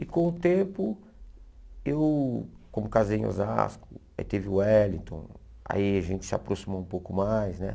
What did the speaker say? E com o tempo, eu, como casei em Osasco, aí teve o Wellington, aí a gente se aproximou um pouco mais, né?